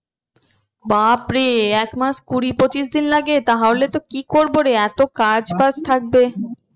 বাপরে এক মাস কুড়ি পঁচিশ দিন লাগে তাহলে তো কি করবো রে এতো কাজ বাজ থাকবে।